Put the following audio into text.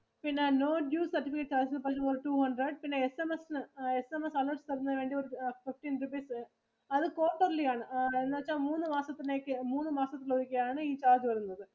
പിന്നെ No due certificate that will cost two hundred, പിന്നെ SMS ഇന് SMS allert തരുന്നതിനു ഒരു fifteen rupees വരും. അത് quarterly ആണ്. എന്ന് വെച്ചാ മൂന്ന് മാസം തേക്ക്‌ മൂന്ന് മാസത്തിൽ ഒരിക്കെയാണ് ഈ charge വരുന്നത്.